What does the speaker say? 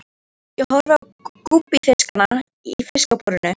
Ég horfi á gúbbífiskana í fiskabúrinu.